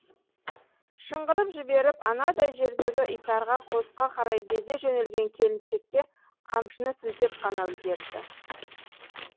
шыңғырып жіберіп анадай жердегі итарқа қосқа қарай безе жөнелген келіншекке қамшыны сілтеп қана үлгерді